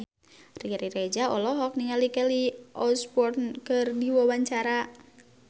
Riri Reza olohok ningali Kelly Osbourne keur diwawancara